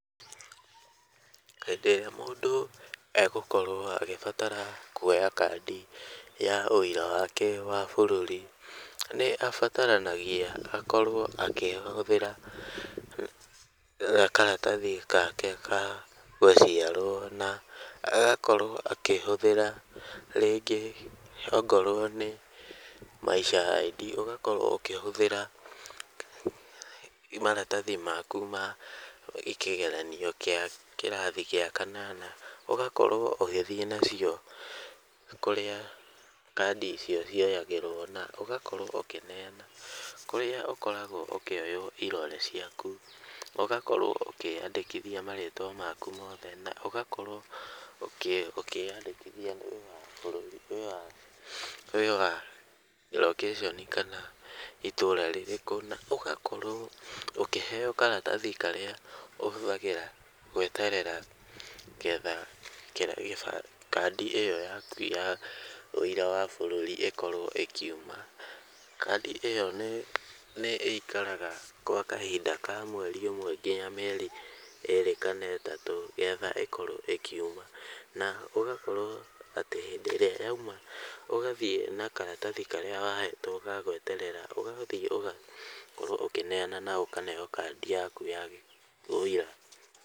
Hĩndĩ ĩrĩa mũndũ egũbatara kuoya kandi yake ya ũira wa bũrũri nĩ abataranagia akorwo akĩhũthĩra karatathi gake ga gũciarwo na agakorwo akĩhũthĩra rĩngĩ ongorwo nĩ Maisha ID. Ũgakorwo ũkĩhũthĩra maratathi maku ma kĩrathi gĩa kanana. Ũgakorwo ũgĩthiĩ nacio kũrĩa kandi icio cioyagĩrwo na ũgakorwo ũkĩneana kũrĩa ũkoragwo ũkĩoywao irore ciaku. Ũgakorwo ũkĩandĩkithia marĩtwa maku mothe na ugakorwo ũkĩandĩkithia wĩ wa bũrũri wĩ wa location kana itũra rĩrĩkũ. Ũgakorwo ũkĩheo karatathi karĩa ũhũthagĩra gweterera getha kandi ĩyo yaku ya ũira wa bũrũri ĩkorwo ĩkiuma. Kandi ĩyo nĩ ĩikaraga gwa kahinda ka mweri ũmwe nginyamĩeri ĩĩrĩ kana ĩtatũ getha ĩkorwo ĩkiuma. Na ũgakorwo atĩ hĩndĩ ĩrĩa yauma ũgathiĩ na karatathi karĩa wahetwo ga gweterera, ũgathiĩ na ũgakorwo ũkĩnengerwo kandi yaku ya ũira.